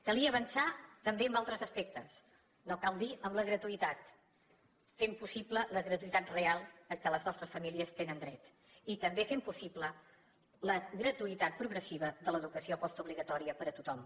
calia avançar també en altres aspectes no cal dir en la gratuïtat fent possible la gratuïtat real a què les nostres famílies tenen dret i també fent possible la gratuïtat progressiva de l’educació postobligatòria per a tothom